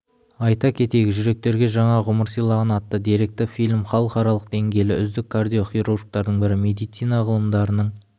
айта кетейік жүректерге жаңа ғұмыр сыйлаған атты деректі фильм халықаралық деңгейлі үздік кардиохирургтардың бірі медицина ғылымдарының